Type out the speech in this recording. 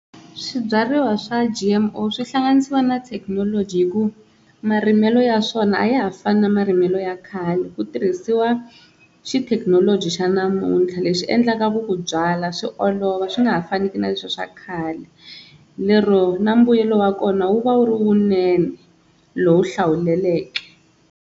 Swibyariwa swa G_M_O swi hlanganisiwa na thekinoloji hi ku marimelo ya swona a ya ha fani na marimelo ya khale. Ku tirhisiwa xithekinoloji xa namuntlha leswi endlaka ku ku byala swi olova swi nga ha fani ku na leswi swa khale lero na mbuyelo wa kona wu va wu ri wu vunene lowu hlawuleleke.